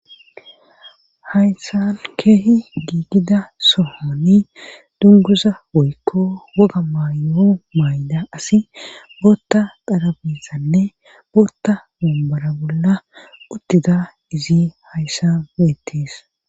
Haysan keehi giigida sohoni dunguza boykko woga maayoo mayda asi bootta qarabisanne bootta mumbara bolla uttida izi hayssa weettis.